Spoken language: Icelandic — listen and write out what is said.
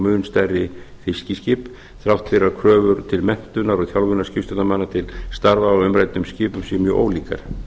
mun stærri fiskiskip þrátt fyrir að kröfur til menntunar og þjálfunar skipstjórnarmanna til starfa á umræddum skipum séu mjög ólíkar